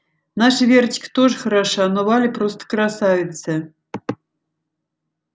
наша верочка тоже хороша но валя просто красавица